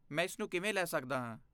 ਮੈਂ ਇਸਨੂੰ ਕਿਵੇਂ ਲੈ ਸਕਦਾ ਹਾਂ।